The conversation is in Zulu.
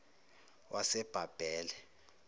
wasebhabhele